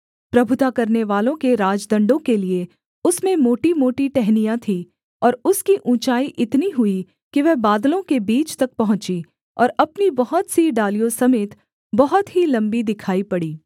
प्रभुता करनेवालों के राजदण्डों के लिये उसमें मोटीमोटी टहनियाँ थीं और उसकी ऊँचाई इतनी हुई कि वह बादलों के बीच तक पहुँची और अपनी बहुत सी डालियों समेत बहुत ही लम्बी दिखाई पड़ी